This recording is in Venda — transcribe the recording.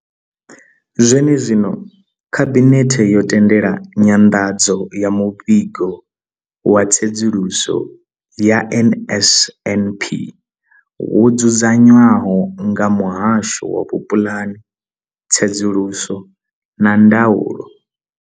Zwenezwino, Khabinethe yo tendela nyanḓadzo ya muvhigo wa tsedzuluso ya NSNP wo dzudzanywaho nga muhasho wa vhupulani, tsedzuluso na ndaulo.